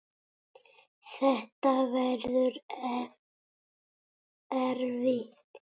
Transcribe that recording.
Þetta verður erfitt.